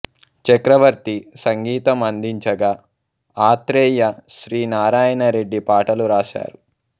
చక్రవర్తి సంగీతం అందించగా ఆత్రేయ సి నారాయణరెడ్డి పాటలు రాశారు